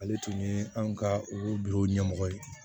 Ale tun ye anw ka u bila u ɲɛmɔgɔ ye